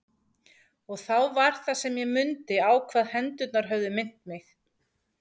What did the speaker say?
Og þá var það sem ég mundi á hvað hendurnar höfðu minnt mig.